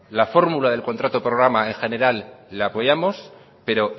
la fórmula del contrato programa en general la apoyamos pero